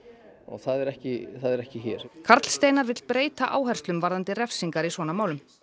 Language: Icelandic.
það er ekki er ekki hér karl Steinar vill breyta áherslum varðandi refsingar í svona málum